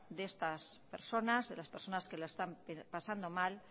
de estas personas de las personas que lo están pasando mal